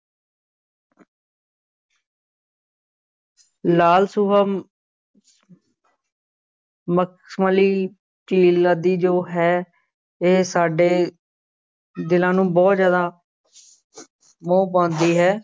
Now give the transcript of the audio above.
ਲਾਲ ਸੂਹਾ ਮਖ਼ਮਲੀ ਝੀਲਾਂ ਦੀ ਜੋ ਹੈ ਇਹ ਸਾਡੇ ਦਿਲਾਂ ਨੂੰ ਬਹੁਤ ਜ਼ਿਆਦਾ ਮੋਹ ਪਾਉਂਦੀ ਹੈ।